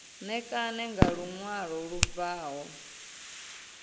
ṋekane nga luṅwalo lu bvaho